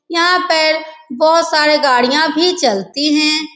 यहाँ पर बहोत सारे गाड़ियां भी चलती हैं।